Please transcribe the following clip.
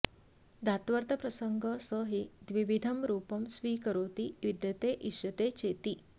धात्वर्थप्रसङ्ग स हि द्विविधं रूपं स्वीकरोति विद्यते इष्यते चेति